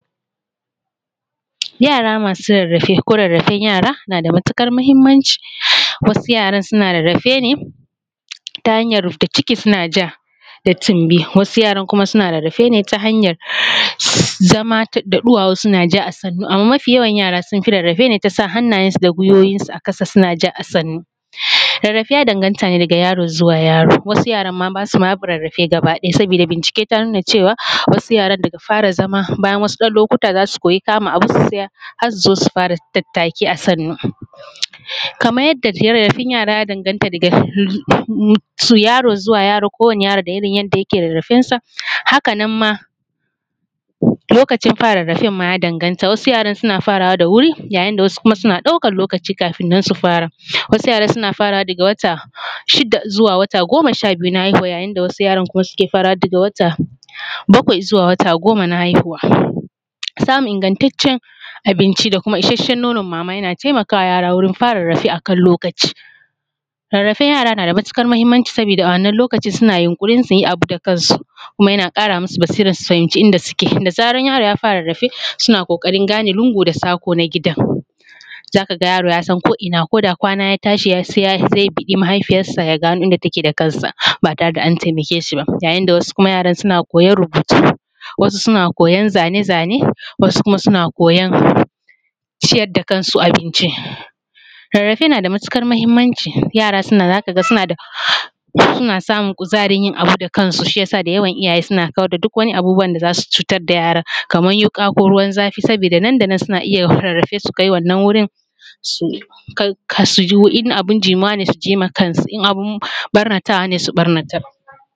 Yara masu rarrafe ko rarrafen yara na da matukar muhimmanci, wasu yaran suna rarrafe ne ta hanyar rufda ciki suna ja da tumbi wasu yaran kuma suna rarrafe ne ta hanyar zama da ɗuwawu suna ja a sannu, mafi yawan yara sun fi rarrafe ne ta sa hannayensu a guwuwi a kasa suna ja a sannu, rarrafe ya danganta ne daga yaro zuwa yaro wasu yaran basa rarrafe gaba ɗaya saboda bincike ta nuna cewa wasu yaran daga fara zama bayan wasu ɗan lokuta zasu koyi kama abu su tsaya har su zo su fara tattaki a sannu, kamar yadda rarrafen yara ya danganta daga raro zuwa yaro da irin yadda yake rarrafensa haka nan ma lokacin fara rarrafen ya danganta wasu yaran suna farawa da wuri yayin da wasu ma suna ɗaukan lokaci kafin nan su fara wasu yaran suna faraway daga wata shida zuwa wata goma sha biyu na haihuwa yayin da wasu yaran suke farawa daga wata bakwai zuwa wata goma na haihuwa, samun igantacen abinci da kuma isashen nonan mama yana taimakawa yara wurin fara rarrafe akan lokaci. Rarrafen yara yana da matukar muhimmanci saboda a wannan lokacin suna yunkurin su yi abu da kansu kuma yana kara masu basira su fahimci inda suke da zarar yaro ya fara rarrafe suna kokarin gane lungu da sako na gidan, zaka ga yaro ya san koina koda kwana ya tashi zai biɗi mahaifiyarsa ya gano inda take da kansa ba tare da an taimake shi ba, wasu yaran suna koyan rubutu, wasu suna koyan zane-zane wasu kuma suna koyan ciyar da kansu abinci. Rarrafe na da matukar muhimmanci yara zaka ga suna samun kuzarin yin abu da kansu shi yasa da yawan iyaye suna kawar da duk wani abubuwan da zasu cutar da yaran kamar wuka ko ruwan zafi saboda nan danan suna iya rarrafe su kai wannan wurin su ji in abun jimuwa ne su ji ma kansu in abun ɓarnatawa ne su ɓarnatar.